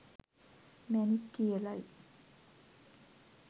මැණික් කියලයි.